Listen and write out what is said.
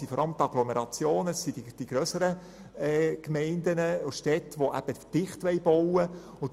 Die Agglomerationen und die grösseren Gemeinden und Städte, die dicht bauen wollen, hätten vor allem einen Nutzen.